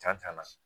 Ja ta la